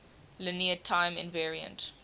linear time invariant